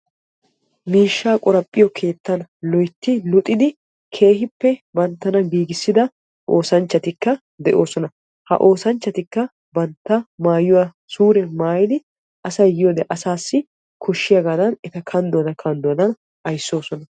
Miishshaa keettan, loytti luxxidi keehippe banttana giigissida oosanchchatikka de'oosona ha oosanchchatikka bantta maayuwaa suure maayidi asay yiyoode asaassi koshshiyaagadan eta kandduwaadan kandduwaadan ayssoosona.